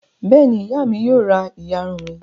Bẹ́ẹ̀ ni, ìyá mi yóò ra ìyarun mi.